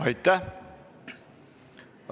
Aitäh!